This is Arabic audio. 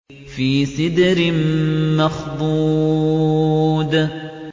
فِي سِدْرٍ مَّخْضُودٍ